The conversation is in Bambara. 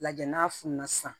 Lajɛ n'a fununa sisan